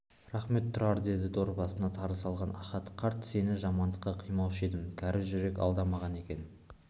рақмет тұрар деді дорбасына тары салған ахат қарт сені жамандыққа қимаушы едім кәрі жүрек алдамаған екен